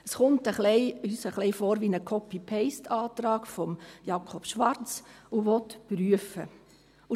Es kommt uns ein wenig vor wie ein Copy-/PasteAntrag von Jakob Schwarz, der prüfen will.